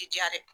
Ti diya dɛ